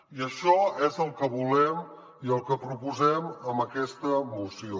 i això és el que volem i el que proposem en aquesta moció